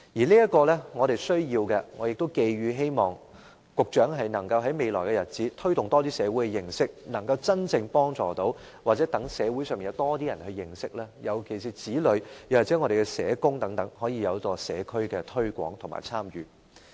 這是我們需要做的，我亦希望局長能在未來日子推動社會對這方面有多一點的認識，從而能夠真正幫助長者，又或讓社會上有更多人認識，尤其是子女或社工等，讓他們可在社區推廣和參與。